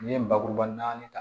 N'i ye bakuruba naani ta